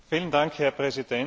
Herr Präsident!